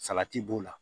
Salati b'o la